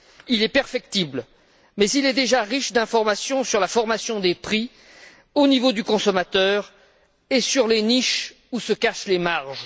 Il est perfectible mais il est déjà riche d'informations sur la formation des prix au niveau du consommateur et sur les niches où se cachent les marges.